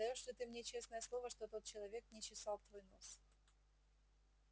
даёшь ли ты мне честное слово что тот человек не чесал твой нос